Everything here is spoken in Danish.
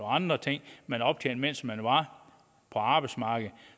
andre ting man har optjent mens man var på arbejdsmarkedet